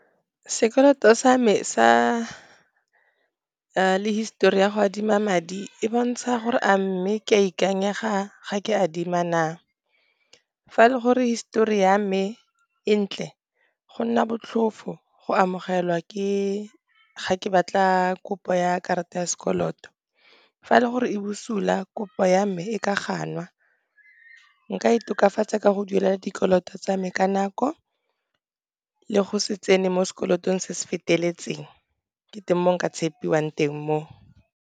Sekoloto sa me sa le histori ya go adima madi, e bontsha gore a mme ke a ikanyega ga ke adima na. Fa e le gore histori ya mme e ntle, go nna botlhofo go amogelwa ga ke batla kopo ya karata ya sekoloto, fa e le gore e busula, kopo ya me e ka ganwa. Nka e tokafatsa ka go duela dikoloto tsa me ka nako, le go se tsene mo sekolotong se se feteletseng, ke teng mo nka tshepiwang teng mo.